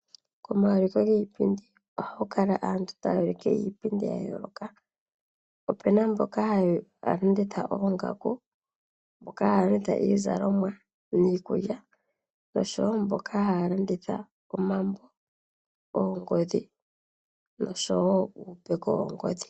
Komauliko giipindi oha ku kala aantu taa ulike iipundi ya yooloka. Opu na mboka haa landitha oongaku, iizalomwa, iikulya, omambo, oongodhi nosho woo uupeko woongodhi.